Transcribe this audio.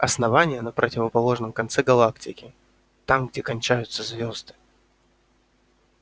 основание на противоположном конце галактики там где кончаются звезды